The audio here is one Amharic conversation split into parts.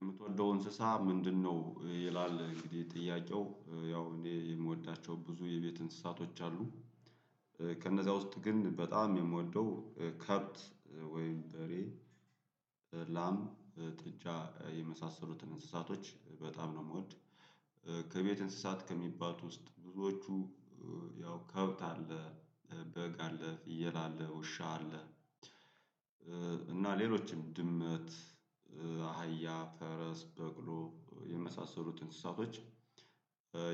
የምትወደው እንስሳ ምንድነው? ይላል እንግዲህ ጥያቄው ያው እኔ የምወዳቸው ብዙ የቤት እንስሳቶች አሉ። ከእነዚያ ውስጥ ግን በጣም የምወደው ከብት ወይም በሬ እሬ ላም ጥጃ የመሳሰሉትን እንስሳቶች በጣም ነው ምወድ። ከቤት እንስሳት ከሚባሉት ውስጥ ብዙዎቹ ያው ከብት አለ በግ አለ ፍየል አለ ውሻ አለ እና ሌሎችም ድመት አህያ ፈረስ በቅሎ የመሳሰሉት እንስሳቶች።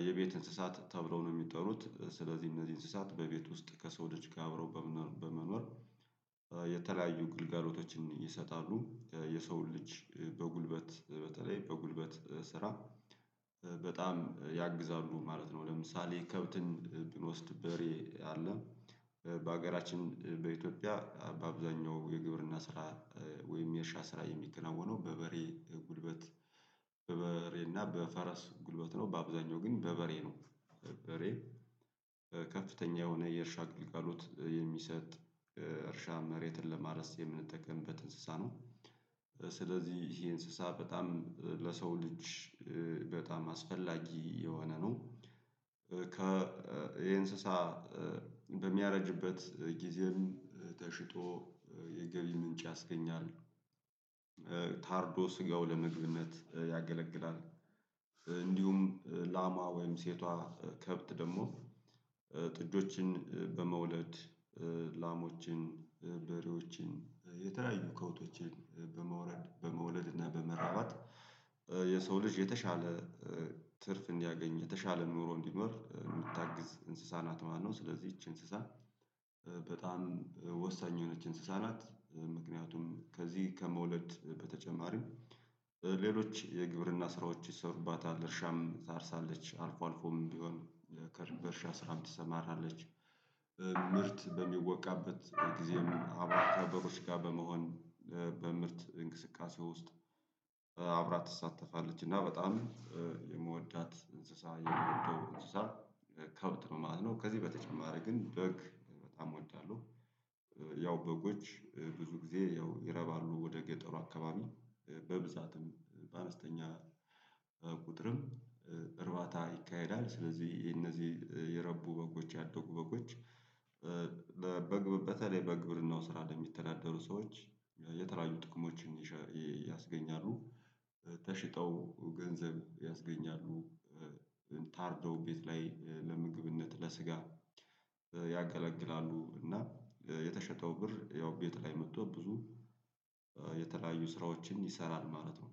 የቤት እንስሳት ተብለው ነው የሚጠሩት ስለዚህ እነዚህ እንስሳት በቤት ውስጥ ከሰው ልጅ ጋር አብረው በመኖር የተለያዩ ግልጋሎቶችን ይሰጣሉ። የሰውን ልጅ በጉልበት በተለይ በጉልበት ስራ በጣም ያግዛሉ ማለት ነው። ለምሳሌ ከብትን ብኖስድ በሬ አለ በሀገራችን በኢትዮጵያ በአብዛኛው የግብርና ስራ ወይም የእርሻ ስራ የሚከናወነው በበሬ ጉልበት። በበሬ እና በፈረስ ጉልበት ነው በአብዛኛው ግን በበሬ ነው። በሬ ከፍተኛ የሆነ የእርሻ ግልጋሎት የሚሰጥ እርሻ መሬትን ለማረስ የምንጠቀምበት እንስሳ ነው። ስለዚህ ይሄ እንስሳ በጣም ለሰው ልጅ በጣም አስፈላጊ የሆነ ነው። እንስሳ በሚያረጅበት ጊዜም ተሽጦ የገቢ ምንጭ ያስገኛል። ታርዶ ስጋው ለምግብነት ያገለግላል። እንዲሁም ላሟ ወይም ሴቷ ከብት ደግሞ ጥጆችን በመውለድ ላሞችን በሬዎችን የተለያዩ ከብቶችን በመውለድ እና በመራባት የሰው ልጅ የተሻለ ትርፍ እንዲያገኝ የተሻለ ኑሮ እንዲኖር የምታግዝ እንስሳናት ማለት ነው። ስለዚህ ይቺ እንስሳ በጣም ወሳኝ የሆነች እንስሳ ናት። ምክንያቱም ከዚህ ከመውለድ በተጨማሪም ሌሎች የግብርና ስራዎች ይሰሩባታል እርሻም ታርሳለች አልፎ አልፎም ቢሆን በእርሻ ስራም ትሰማራለች። ምርት በሚወቃበት ጊዜም ከአርብቶአደሮች ጋር በመሆን በምርት እንቅስቃሴ ውስጥ አብራት ትሳተፋለች። እና በጣም የምወዳት እንስሳ የምወደው እንስሳ ከብት ነው ማለት ነው። ከዚህ በተጨማሪ ግን በግ በጣም እወዳለሁ። ያው በጎች ብዙ ጊዜ ያው ይረባሉ ወደ ገጠሩ አካባቢ በብዛትም በአነስተኛ ቁጥርም እርባታ ይካሄዳል። ስለዚህ የነዚህ የረቡ በጎች ያደጉ በጎች በግ በተለይ በግብርናው ስራ ለሚተዳደሩ ሰዎች የተለያዩ ጥቅሞችን ያስገኛሉ። ተሽጠው ገንዘብ ያስገኛሉ። ታርደው ቤት ላይ ለምግብነት ለስጋ ያገለግላሉ። እና የተሸጠው ብር ያው ቤት ላይ መጥቶ ብዙ የተለያዩ ስራዎችን ይሰራል ማለት ነው።